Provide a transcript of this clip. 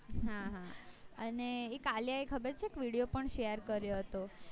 હા હા અને એ કાલે આયી એક ખબે છે video પણ share કર્યો હતો